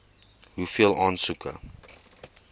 hoeveel aansoeke